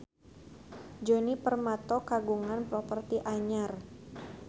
Djoni Permato kagungan properti anyar